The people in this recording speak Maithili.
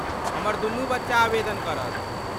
हमर दुनू बच्चा आवेदन करत।